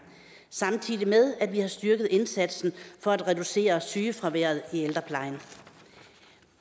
samtidig med at vi har styrket indsatsen for at reducere sygefraværet i ældreplejen